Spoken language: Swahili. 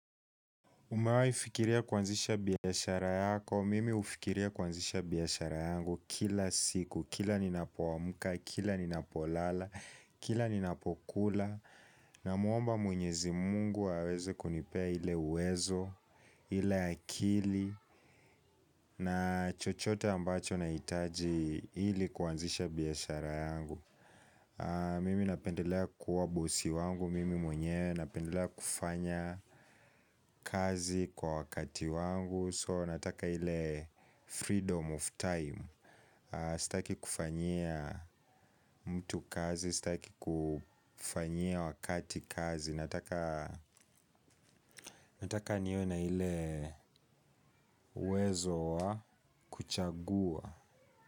Umewahi fikiria kuanzisha biashara yako, mimi hufikiria kuanzisha biashara yangu kila siku, kila ninapoamuka, kila ninapolala, kila ninapokula. Namuomba mwenyezi mungu aweze kunipea ile uwezo, ile akili na chochote ambacho nahitaji ili kuanzisha biashara yangu. Mimi napendelea kuwa bosi wangu, mimi mwenyewe, napendelea kufanya kazi kwa wakati wangu So nataka ile freedom of time. Sitaki kufanyia mtu kazi, sitaki kufanyia wakati kazi. Nataka niwe na ile uwezo wa kuchagua.